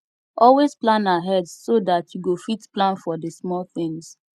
always plan ahead so dat you go fit plan for di small things